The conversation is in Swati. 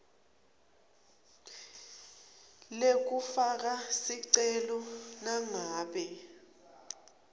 lekufaka sicelo nangabe